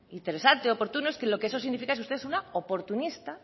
interesante u oportuno es que lo que eso significa es que usted es una oportunista